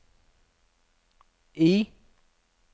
I